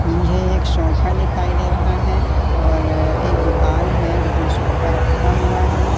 मुझे एक शोफा दिखाई दे रहा है और एक दुकान है जिसमें सोफा रखा हुआ है।